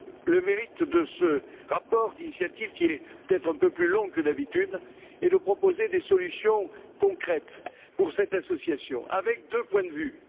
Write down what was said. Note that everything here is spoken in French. Le mérite de ce rapport d'initiative, qui est peut être un peu plus long que d'habitude, est de proposer des solutions concrètes pour cette association, en se plaçant à deux points de vue.